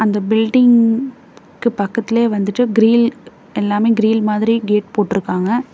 அந்த பில்டிங்க் கு பக்கத்துலயே வந்துட்டு கிரில் எல்லாமே கிரில் மாதிரி கேட் போட்டுருக்காங்க.